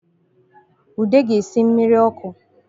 Ude ga-esi mmiri ọkụ